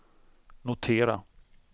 notera